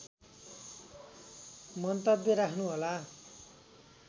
मन्तव्य राख्नु होला